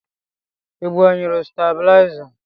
Ị gbanyere stabilizer?